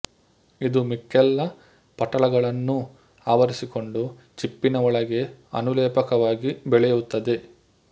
ಇದು ಮಿಕ್ಕೆಲ್ಲ ಪಟಲಗಳನ್ನೂ ಆವರಿಸಿಕೊಂಡು ಚಿಪ್ಪಿನ ಒಳಗೆ ಅನುಲೇಪಕವಾಗಿ ಬೆಳೆಯುತ್ತದೆ